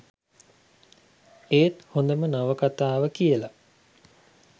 ඒත් හොදම නවකතාව කියලා